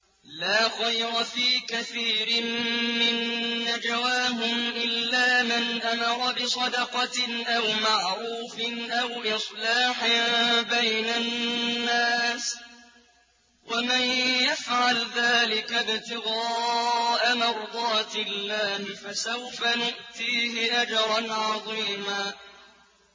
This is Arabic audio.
۞ لَّا خَيْرَ فِي كَثِيرٍ مِّن نَّجْوَاهُمْ إِلَّا مَنْ أَمَرَ بِصَدَقَةٍ أَوْ مَعْرُوفٍ أَوْ إِصْلَاحٍ بَيْنَ النَّاسِ ۚ وَمَن يَفْعَلْ ذَٰلِكَ ابْتِغَاءَ مَرْضَاتِ اللَّهِ فَسَوْفَ نُؤْتِيهِ أَجْرًا عَظِيمًا